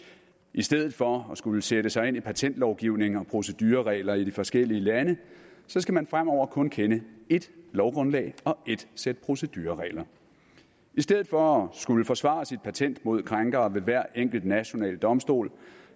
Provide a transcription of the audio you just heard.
i stedet for at skulle sætte sig ind i patentlovgivning og procedureregler i de forskellige lande skal man fremover kun kende ét lovgrundlag og ét sæt procedureregler i stedet for at skulle forsvare sit patent mod krænkere ved hver enkelt national domstol